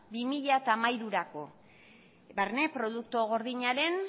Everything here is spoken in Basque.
bi mila hamairurako barne produktu gordinaren